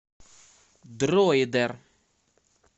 дроидер